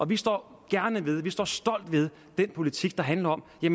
vi står gerne ved vi står stolt ved den politik der handler om at